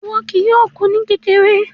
Iwọ kìí yòọ̀ kú ní kékèrè